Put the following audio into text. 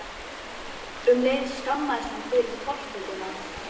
Um leið skammaðist hann sín fyrir tortryggnina.